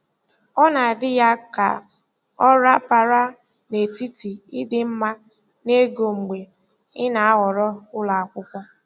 Ọ na-adị ya ka ọ rapaara n'etiti ịdị mma na ego mgbe ị na-ahọrọ ụlọ akwụkwọ.